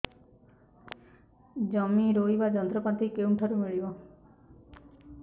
ଜମି ରୋଇବା ଯନ୍ତ୍ରପାତି କେଉଁଠାରୁ ମିଳିବ